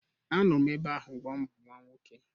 Anọ m ebe ahụ mgbe ọ mụrụ nwa nwoke